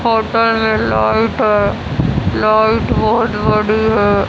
Photo में light है light बहुत बड़ी है।